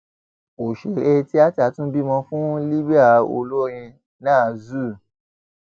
òṣèré tíáta tún bímọ fún libre olórin nah zuu